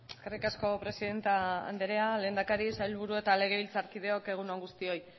eskerrik asko presidente anderea lehendakari sailburu eta legebiltzarkideok egun on guztioi